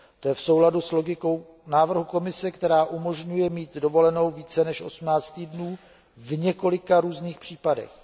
To je v souladu s logikou návrhu Komise, která umožňuje mít dovolenou více než 18 týdnů v několika různých případech.